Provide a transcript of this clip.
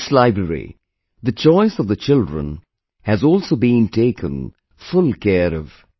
In this library, the choice of the children has also been taken full care of